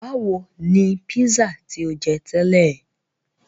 Báwo ni pízà tí o jẹ tẹ́lẹ̀?